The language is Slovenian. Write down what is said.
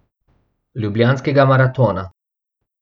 Ljubljanskega maratona.